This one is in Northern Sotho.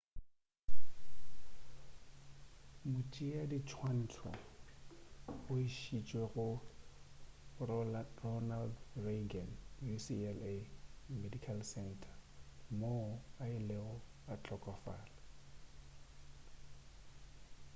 motšeadiswantšho o išitšwe go ronald reagan ucla medical center moo a ilego a hlokofala